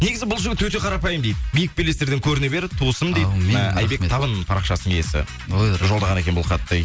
негізі бұл жігіт өте қарапайым дейді биік белестерден көріне бер туысым дейді ы айбек табын парақшасының иесі жолдаған екен бұл хатты